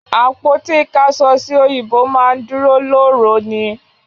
Àpótí ìkáṣọsí òyìnbó máa ń dúró lóòró ni